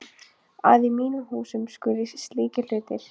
Að í mínum húsum, skuli slíkir hlutir.!